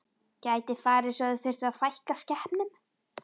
Gæti farið svo að þið þyrftuð að fækka skepnum?